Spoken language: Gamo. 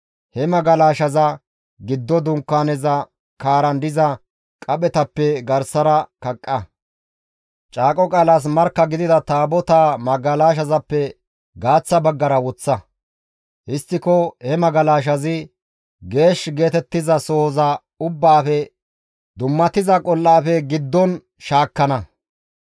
He magalashaza giddo dunkaaneza kaaran diza qaphetappe garsara kaqqada, Caaqo qaalaas markka gidida taabotaa magalashazappe gaaththa baggara woththa; histtiko he magalashazi geesh geetettiza sohoza ubbaafe dummatiza qol7aafe giddon shaakkana.